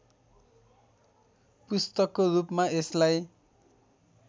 पुस्तकको रूपमा यसलाई